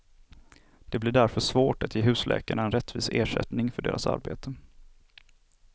Det blir därför svårt att ge husläkarna en rättvis ersättning för deras arbete.